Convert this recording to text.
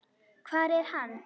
Hvar er hann?